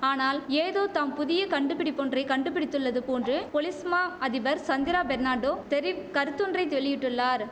ஆனால் ஏதோ தாம் புதிய கண்டுபிடிப்புப்பொன்றை கண்டுபிடித்துள்ளது போன்று பொலிஸ் மா அதிபர் சந்திரா பெர்னாண்டோ தெரிவ் கருத்தொன்றைதெளியிட்டுள்ளார்